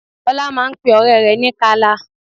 Ọlá máa ń pe ọ̀rẹ́ ní Kala